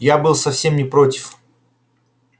я был совсем не против